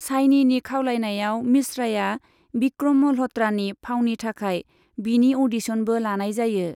शाइनीनि खावलायनायाव, मिश्राया बिक्रम मल्ह'त्रानि फावनि थाखाय बिनि अडिशनबो लानाय जायो।